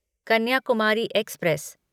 Kanyakumari express